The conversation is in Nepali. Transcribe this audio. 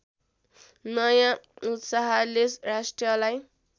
नयाँ उत्साहले राष्ट्रलाई